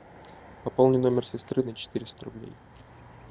пополни номер сестры на четыреста рублей